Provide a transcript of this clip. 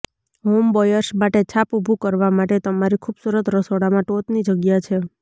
homebuyers માટે છાપ ઊભું કરવા માટે તમારી ખૂબસૂરત રસોડામાં ટોચની જગ્યા છે